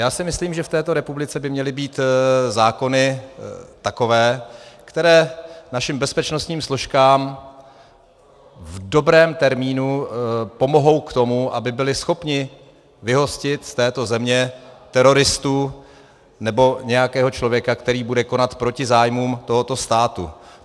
Já si myslím, že v této republice by měly být zákony takové, které našim bezpečnostním složkám v dobrém termínu pomohou k tomu, aby byly schopny vyhostit z této země teroristu nebo nějakého člověka, který bude konat proti zájmům tohoto státu.